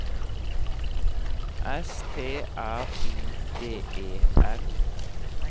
S T R I D E N